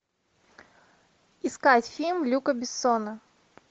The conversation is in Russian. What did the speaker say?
искать фильм люка бессона